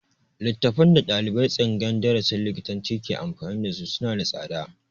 Littafan da ɗaliban tsangayar darasin likitanci ke amfani da su suna da tsada